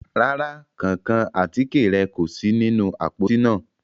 Ràrà, kánkán àtike rẹ ko si ninu apoti naa